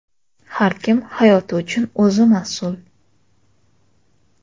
Har kim hayoti uchun o‘zi mas’ul.